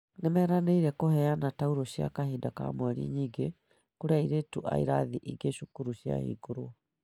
Nimeranĩire kũheana tauro cia kahinda ka mweri nyingĩ kũrĩ airitu a irathi ingĩ cukuru ciahingũrwo